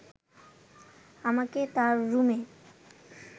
আমাকে তার রুমে